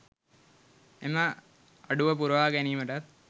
එම අඩුව පුරවා ගැනීමටත්